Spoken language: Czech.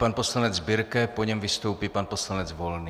Pan poslanec Birke, po něm vystoupí pan poslanec Volný.